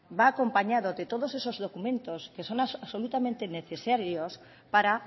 va acompañado de todos esos documentos que son absolutamente necesarios para